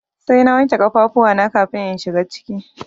Sai na wanke kafafuwa na kafin in shiga ciki.